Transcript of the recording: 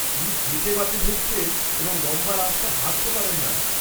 -উনি গেঁটে বাতে ভুগছেন এবং লম্বা রাস্তা হাঁটতে পারেন না।